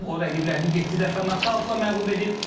O rəqiblərini yeddi dəfə nokautla məğlub edib.